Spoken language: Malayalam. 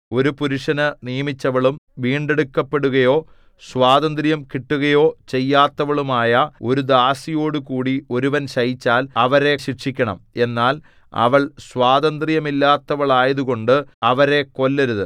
ഒരു പുരുഷന് നിയമിച്ചവളും വീണ്ടെടുക്കപ്പെടുകയോ സ്വാതന്ത്ര്യം കിട്ടുകയോ ചെയ്യാത്തവളുമായ ഒരു ദാസിയോടുകൂടി ഒരുവൻ ശയിച്ചാൽ അവരെ ശിക്ഷിക്കണം എന്നാൽ അവൾ സ്വാതന്ത്ര്യമില്ലാത്തവളായതുകൊണ്ട് അവരെ കൊല്ലരുത്